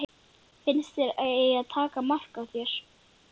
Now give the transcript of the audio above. Finnst þér að ég eigi að taka mark á þér?